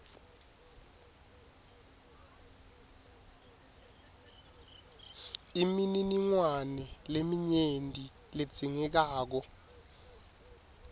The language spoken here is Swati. imininingwane leminyenti ledzingekako